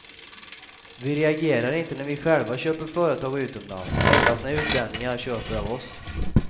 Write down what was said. Vi reagerar inte när vi själva köper företag utomlands, endast när utlänningar köper av oss.